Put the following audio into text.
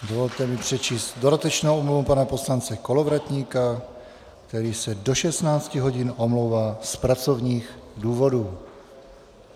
Dovolte mi přečíst dodatečnou omluvu pana poslance Kolovratníka, který se do 16 hodin omlouvá z pracovních důvodů.